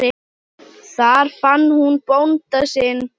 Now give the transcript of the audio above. Þar fann hún bónda sinn.